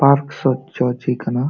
Park ᱪᱚ ᱪᱮᱫ ᱠᱟᱱᱟ᱾